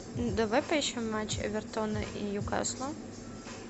давай поищем матч эвертона и ньюкасла